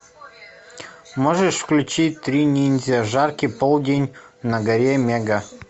можешь включить три ниндзя жаркий полдень на горе мега